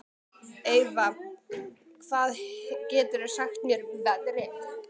Eyva, hvað geturðu sagt mér um veðrið?